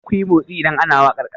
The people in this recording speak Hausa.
Kar kuyi motsi idan ana wakar kasa!